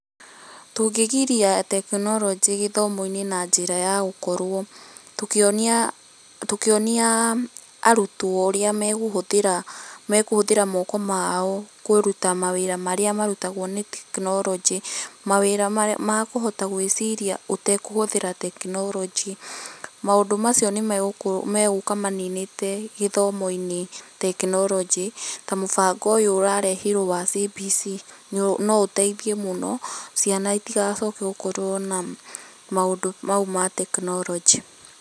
Tũngĩgiria teknoronjĩ gĩthomo-inĩ na njĩra ya gũkorwo tũkĩona, tũkĩona aa arũtwo ũrĩa makũhũthĩra moko mao kũruta mawĩra marĩa marutagwo nĩ teknoronjĩ , mawĩra makũhota gwĩciria ũtakũhũthĩra teknoronjĩ, maũndũ macio nĩmagũka maninite gĩthomo teknoronjĩ ta mũbando ũyũ ũrokire wa CBC , no ũteithie mũno ciana itigacoke gũkorwo na maũndũ mau ma teknorojĩ.